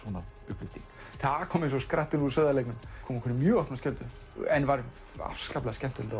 upplyfting það kom eins og skrattinn úr sauðarleggnum kom okkur í mjög opna skjöldu en var afskaplega skemmtilegt